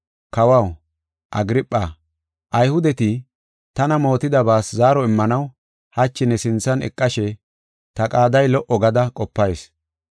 “Kawaw, Agirpha, Ayhudeti tana mootidabaas zaaro immanaw hachi ne sinthan eqashe ta qaaday lo77o gada qopayis.